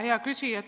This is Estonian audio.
Hea küsija!